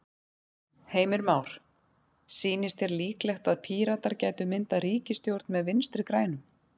Heimir Már: Sýnist þér líklegt að Píratar gætu myndað ríkisstjórn með Vinstri-grænum?